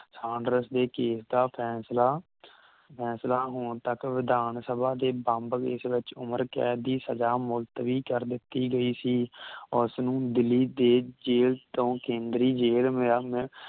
Saunders ਦੇ ਕੀਮਤਾਂ ਫੈਂਸਲਾ ਫੈਂਸਲਾ ਹੁਣ ਤਕ ਵਿਧਾਨ ਸਭਾ ਦੇ ਬੰਬ ਵਿਚ ਉਮਰ ਕੈਦ ਦੀ ਸਜਾ ਮੁਲਤਵੀ ਕਰ ਦਿੱਤੀ ਗਈ ਸੀ ਉਸ ਨੂੰ ਦਿੱਲੀ ਦੇ ਜੇਲ ਤੋਂ ਕੇਂਦਰੀ ਜੇਲ ਮੇਰਾ ਮੈ